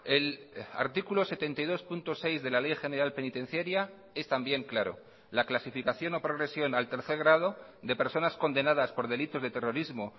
el artículo setenta y dos punto seis de la ley general penitenciaria es también claro la clasificación o progresión al tercer grado de personas condenadas por delitos de terrorismo